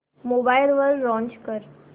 mobile वर launch कर